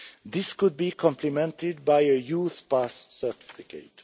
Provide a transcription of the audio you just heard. This could be complemented by a youth pass certificate.